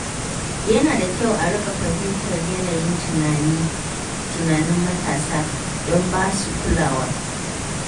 Yana da kyau a riƙa fahimtar yanayin tunanin matasa don ba su kulawa.